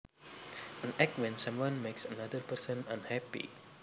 An act when someone makes another person unhappy